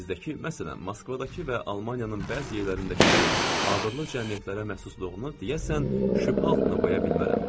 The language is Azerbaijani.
Amma bizdəki, məsələn, Moskvadakı və Almaniyanın bəzi yerlərindəki kimi abırlı cəmiyyətlərə məxsusluğunu deyəsən şübhə altına qoya bilmərəm.